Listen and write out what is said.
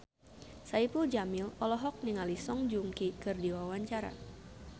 Saipul Jamil olohok ningali Song Joong Ki keur diwawancara